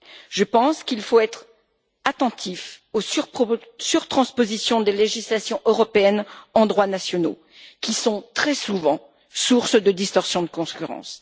Je pense qu'il faut être attentif aux surtranspositions des législations européennes en droits nationaux, qui sont très souvent source de distorsion de concurrence.